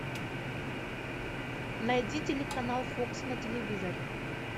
найди телеканал фокс на телевизоре